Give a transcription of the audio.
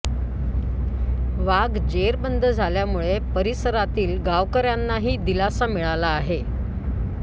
वाघ जेरबंद झाल्यामुळे परिसरातील गावकऱ्यांनाही दिलासा मिळाला आहे